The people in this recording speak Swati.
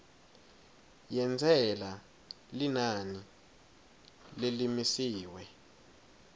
yentsela linani lelimisiwe